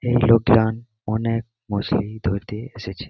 এই লোকদান অনেক মুসলি ধরতে এসেছে ।